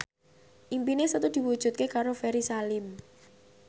impine Setu diwujudke karo Ferry Salim